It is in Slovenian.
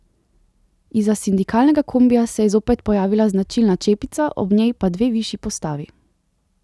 Izza sindikalnega kombija se je zopet pojavila značilna čepica, ob njej pa dve višji postavi.